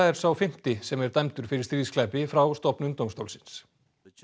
er sá fimmti sem er dæmdur fyrir stríðsglæpi frá stofnun dómstólsins